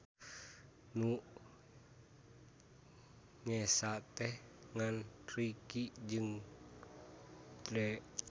Nu nyesa teh ngan Ricky jeung Drie.